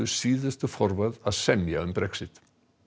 síðustu forvöð að semja um Brexit